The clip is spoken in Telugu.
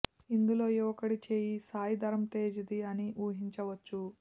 ఇందులో యువకుడి చేయి సాయి ధరమ్ తేజ్ ది అని ఊహించవచ్చు